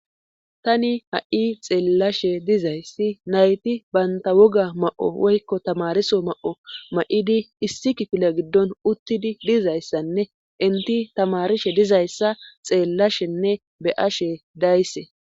Tani ha7i xeellashe dizayssi nayti baynta woga ma7o woykko tamariso ma7o ma7idi issi kifila giddon uttidi dizayssanne inti tamarishe dizayssa xeellashenne beyashe dayse